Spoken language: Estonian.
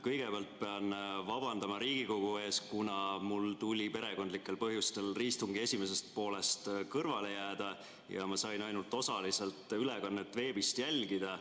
Kõigepealt pean vabandama Riigikogu ees, kuna mul tuli perekondlikel põhjustel istungi esimesest poolest kõrvale jääda ja ma sain ainult osaliselt ülekannet veebist jälgida.